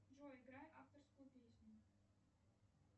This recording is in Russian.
джой играй авторскую песню